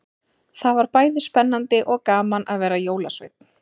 Það var bæði spennandi og gaman að vera jólasveinn.